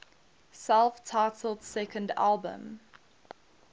self titled second album